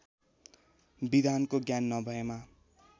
विधानको ज्ञान नभएमा